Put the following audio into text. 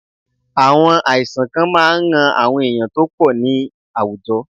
Àwọn àìsàn kan máa ran àwọn èèyàn tó pọ̀ ní àwùjọ.